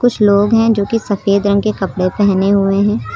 कुछ लोग हैं जो की सफेद रंग के कपड़े पहने हुए हैं।